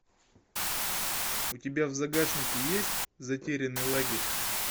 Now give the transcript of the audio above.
у тебя в загашнике есть затерянный лагерь